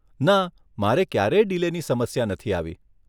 ના મારે ક્યારેય ડિલેની સમસ્યા નથી આવી.